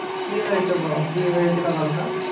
কি হয়েছে ব~ কি হয়েছিল বলত?